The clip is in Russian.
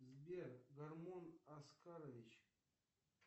сбер гормон аскарович